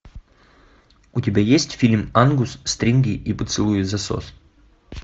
у тебя есть фильм ангус стринги и поцелуи взасос